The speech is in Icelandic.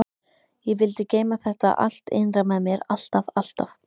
Ég vildi geyma þetta allt innra með mér alltaf alltaf.